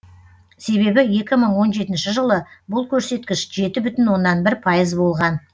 себебі екі мың он жетінші жылы бұл көрсеткіш жеті бүтін оннан бір пайыз болған